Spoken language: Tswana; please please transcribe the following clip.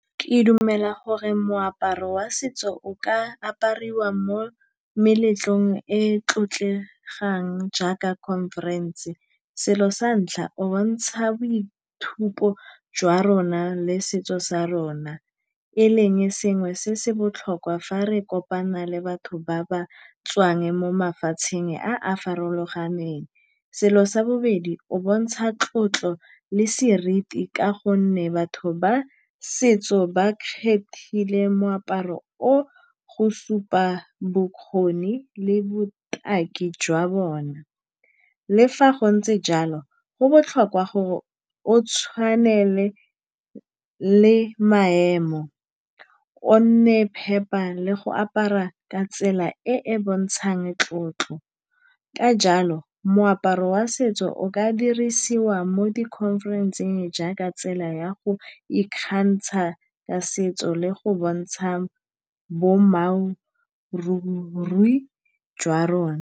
Ke dumela gore moaparo wa setso o ka apariwa mo meletlong e e tlotlegang jaaka conference-e. Selo sa ntlha o bontsha boithupo jwa rona le setso sa rona e leng sengwe se se botlhokwa fa re kopana le batho ba ba tswang mo mafatsheng a a farologaneng. Selo sa bobedi, o bontsha tlotlo le seriti ka gonne batho ba setso ba kgethile moaparo o go supa bokgoni le botaki jwa bona. Le fa go ntse jalo go botlhokwa gore o tshwanele le maemo o nne phepa le go apara ka tsela e e bontshang tlotlo. Ka jalo moaparo wa setso o ka dirisiwa mo di-conference-eng jaaka tsela ya go ikgantsha ka setso le go bontsha jwa rona.